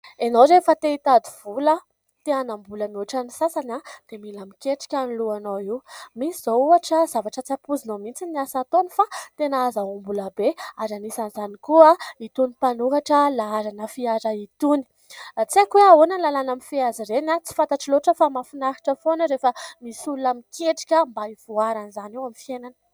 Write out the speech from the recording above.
Ianao rehefa te hitady vola, te hanam-bola mihoatra ny sasany dia mila miketrika ny lohanao io. Misy izao ohatra zavatra tsy ampoizinao mihitsy ny asa ataony fa tena hahazoam-bola be ary anisan'izany koa itony mpanoratra laharana fiara itony. Tsy aiko hoe ahoana ny lalàna mifehy azy ireny tsy fantatro loatra fa mahafinaritra foana rehefa misy olona miketrika mba hivoarana izany eo amin'ny fiainana.